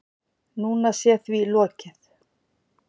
Núna sé því lokið